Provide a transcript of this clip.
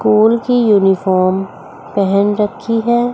Cool की uniform पहन रखी है।